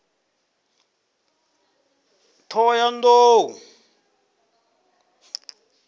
ṱhohoyanḓou